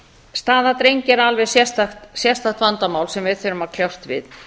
staða drengja er alveg sérstakt vandamál sem við þurfum að kljást við